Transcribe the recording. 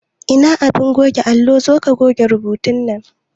Ina abin goge allo, zoka goge rubutu nan